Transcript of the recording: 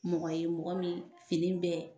Mɔgɔ ye mɔgɔ min fini bɛɛ